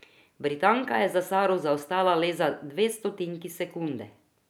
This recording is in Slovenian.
Britanka je za Saro zaostala le za dve stotinki sekunde.